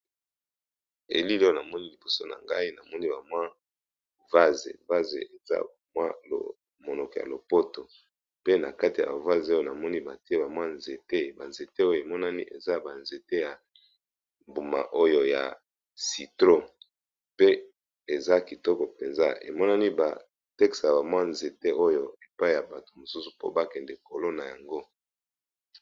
Elili oyo na moni liboso na ngai na moni ba mwa vase vase eza mwa monoko ya lopoto pe na kati ya vase oyo na moni batie ba mwa nzete ba nzete oyo emonani eza ba nzete ya mbuma oyo ya citro pe eza kitoko mpenza emonani ba tekisaka bamwa nzete oyo epai ya bato mosusu po ba kende kolona yango.